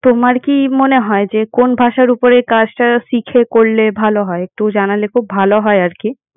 তোমার কি মনে হয় যে কোন ভাষার উপরে কাজটা শিখে করলে ভালো হয়। একটু জানালে খুব ভালো হয় আরকি।